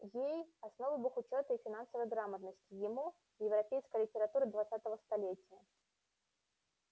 ей основы бухучёта и финансовой грамотности ему европейская литература двадцатого столетия